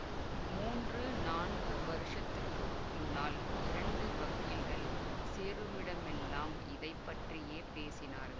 மூன்று நான்கு வருஷத்துக்கு முன்னால் இரண்டு வக்கீல்கள் சேருமிடமெல்லாம் இதை பற்றியே பேசினார்கள்